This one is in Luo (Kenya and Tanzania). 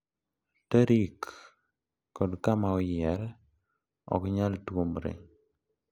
Tarik kod kama oyier ok nyal tuomre,